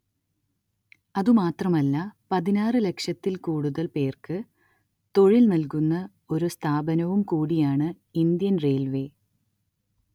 അതുമാത്രമല്ല പതിനാറ് ലക്ഷത്തിൽ കൂടുതൽ പേർക്ക് തൊഴിൽ നൽകുന്ന ഒരു സ്ഥാപനവും കൂടിയാണ് ഇന്ത്യൻ റെയിൽവേ